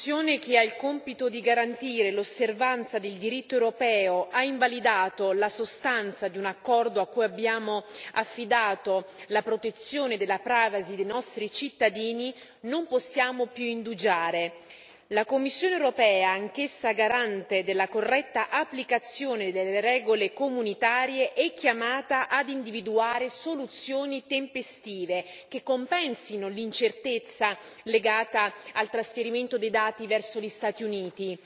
Signora Presidente, onorevoli colleghi, ora che l'istituzione che ha il compito di garantire l'osservanza del diritto europeo ha invalidato la sostanza di un accordo a cui abbiamo affidato la protezione della privacy dei nostri cittadini non possiamo più indugiare. La Commissione europea, anch'essa garante della corretta applicazione delle regole comunitarie, è chiamata ad individuare soluzioni tempestive che compensino l'incertezza legata al trasferimento dei dati verso gli Stati Uniti.